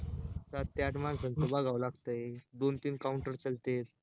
साठ ते आठ माणसांच बघाव लागतंय दोन तीन counter चाललेत